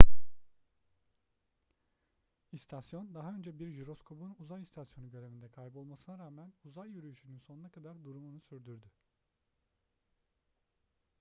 i̇stasyon daha önce bir jiroskopun uzay istasyonu görevinde kaybolmasına rağmen uzay yürüyüşünün sonuna kadar durumunu sürdürdü